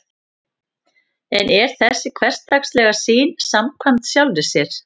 en er þessi hversdagslega sýn samkvæm sjálfri sér